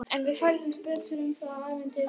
En við fræðumst betur um það ævintýri seinna.